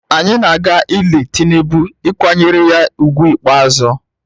Anyị na-aga ili Tinubu ịkwanyere ya ugwu ikpeazụ